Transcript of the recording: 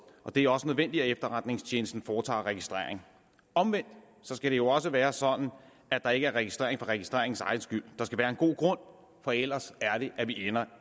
og det er også nødvendigt at efterretningstjenesten foretager registrering omvendt skal det også være sådan at der ikke er registrering for registreringens egen skyld der skal være en god grund for ellers ender